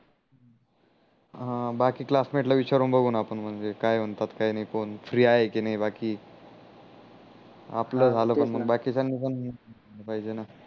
हा बाकी क्लासमेट ला विचारून बघू न आपण म्हणजे काय म्हणतात काय नाही कोण फ्री आहे की नाही बाकी आपल झाल पण मग बाकीच्याणी पण पाहिजे न